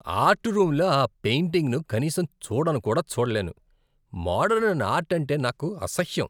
Art రూమ్లో ఆ పెయింటింగ్ను కనీసం చూడను కూడా చూడలేను, మోడరన్ ఆర్ట్ అంటే నాకు అసహ్యం.